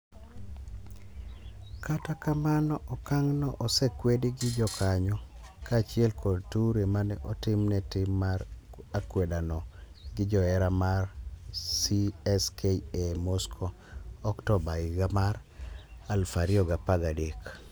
Kata kamano okang'no osekwedi gi jokanyo, kaachiel kod Toure mane otimne tim mar akwedano gi johera mar CSKA Moscow Octoba higa mar 2013.